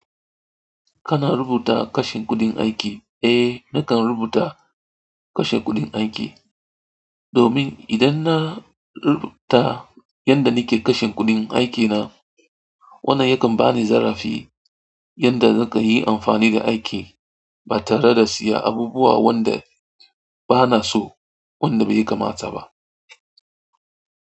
Kana rubuta kashin kuɗin aiki? Ae nakan rubuta kashe kuɗin aiki domin idan na rubuta yanda nake kashe kuɗin aiki na, wannan yakan bani zarafi yanda nakanyi amfani da aiki ba tareda siya abubuwa wanda bana so wanda bai kamata ba.